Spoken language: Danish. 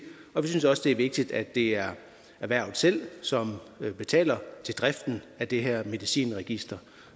vi synes også det er vigtigt at det er erhvervet selv som betaler til driften af det her medicinregister